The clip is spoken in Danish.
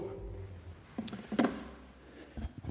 det